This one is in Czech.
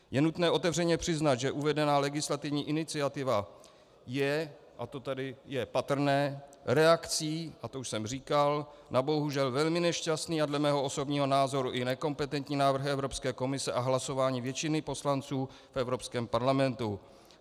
Je nutné otevřeně přiznat, že uvedená legislativní iniciativa je, a to tady je patrné, reakcí, a to už jsem říkal, na bohužel velmi nešťastný a dle mého osobního názoru i nekompetentní návrh Evropské komise a hlasování většiny poslanců v Evropském parlamentu.